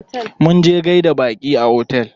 Munje gaida baƙi a otel.